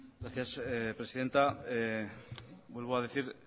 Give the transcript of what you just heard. gracias presidenta vuelvo a decir